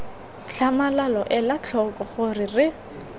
tlhamalalo ela tlhoko gore re